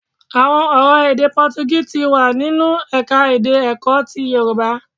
Àwọn ọ̀rọ̀ èdè Pọtugí ti nínú ẹ̀ka-èdè Èkó ti Yorùbá.